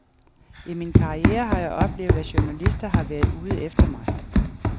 I min karriere har jeg oplevet, at journalister har været ude efter mig.